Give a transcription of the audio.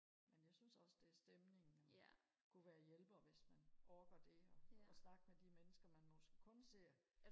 men jeg synes også det er stemningen man kunne være hjælper hvis man orker det og og snakke med de mennesker man måske kun ser